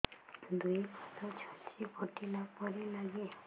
ଦୁଇ ପାଦ ଛୁଞ୍ଚି ଫୁଡିଲା ପରି ଲାଗେ